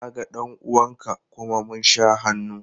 Na ga ɗan uwan ka kuma mun sha hannu.